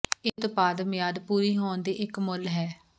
ਇਹ ਉਤਪਾਦ ਮਿਆਦ ਪੂਰੀ ਹੋਣ ਦੇ ਇੱਕ ਮੁੱਲ ਹੈ